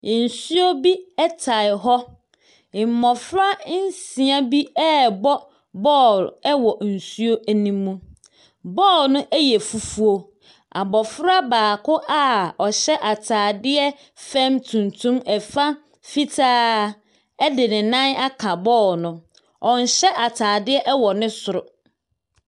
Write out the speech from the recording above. Nsuo bi ɛtaa hɔ. Mmofra nsia bi ɛbɔ bɔɔl ɛwɔ nsuo ne mu. Bɔɔlo no ɛyɛ fufuo. Abofra baako a ɔhyɛ ataadeɛ fam tumtum, ɛfa fitaa ɛde ne nan aka bɔɔlo no. Ɔnhyɛ ataadeɛ ɛwɔ ne soro.